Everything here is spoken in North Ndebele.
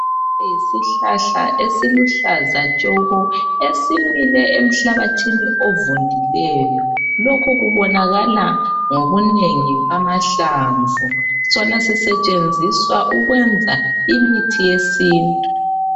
Isihlahla esiluhlaza tshoko esimile emhlabathini ovundileyo, lokhu kubonakala ngobunengi bamahlamvu, sona sisetshenziswa ukwenza imithi yesintu.